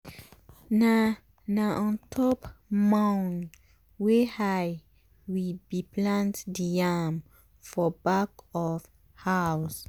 na na on top mound wey high we bi plant the yam for back of house.